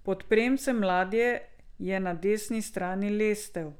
Pod premcem ladje je na desni strani lestev.